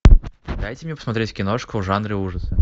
дайте мне посмотреть киношку в жанре ужасы